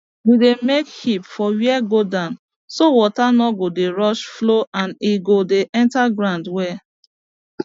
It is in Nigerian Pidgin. we dey make heaps for where go down so water no go dey rush flow and e go dey enter ground well